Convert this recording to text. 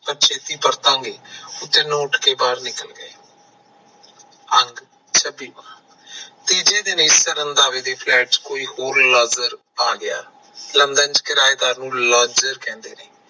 ਪਰ ਛੇਤੀ ਪਰਾਤਾਗੇ ਉਹ ਤਿੰਨੋ ਉੱਠ ਕੇ ਬਾਹਰ ਨਿਕਲ ਗਏ ਅੰਤ ਤੀਜੇ ਦਿਨ ਰੰਧਾਵੇ ਦੇ ਇਸ flat ਚ ਕੋਈ ਹੋਰ ਲੰਜਰ ਆ ਗਿਆ london ਚ ਕਿਰਾਏ ਦਾਰ ਨੂੰ ਲੰਜਰ ਕਹਿੰਦੇ ਨੇ